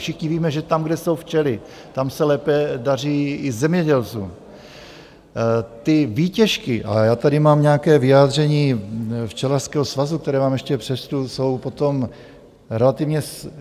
Všichni víme, že tam, kde jsou včely, tam se lépe daří i zemědělcům, ty výtěžky, a já tady mám nějaké vyjádření Včelařského svazu, které vám ještě přečtu, jsou potom relativně směšné.